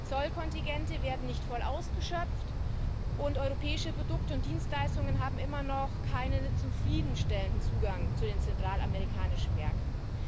Zollkontingente werden nicht voll ausgeschöpft, und europäische Produkte und Dienstleistungen haben immer noch keinen zufriedenstellenden Zugang zu den zentralamerikanischen Märkten.